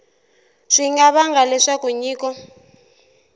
swi nga vanga leswaku nyiko